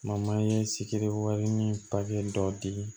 ye sikiri wale ni dɔ di